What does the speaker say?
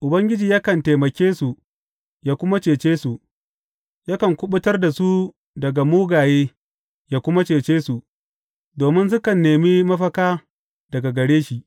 Ubangiji yakan taimake su yă kuma cece su; yakan kuɓutar da su daga mugaye yă kuma cece su, domin sukan nemi mafaka daga gare shi.